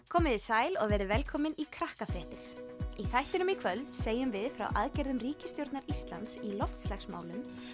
komiði sæl og verið velkomin í Krakkafréttir í þættinum í kvöld segjum við frá aðgerðum ríkisstjórnar Íslands í loftslagsmálum